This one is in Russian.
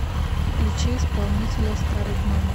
включи исполнителя старый гном